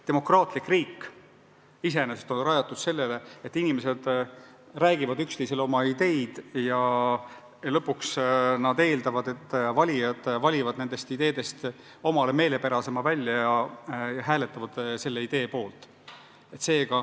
Demokraatlik riik iseenesest on rajatud sellele, et inimesed räägivad üksteisele oma ideedest ja lõpuks nad eeldavad, et valijad valivad nende ideede hulgast omale kõige meelepärasema välja ja hääletavad selle idee poolt.